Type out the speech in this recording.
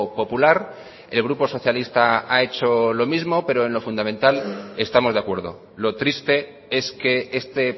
popular el grupo socialista ha hecho lo mismo pero en lo fundamental estamos de acuerdo lo triste es que este